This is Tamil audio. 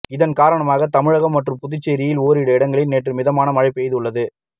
இதன் காரணமாக தமிழகம் மற்றும் புதுச்சேரியில் ஓரிரு இடங்களில் நேற்று மிதமான மழை பெய்துள்ளது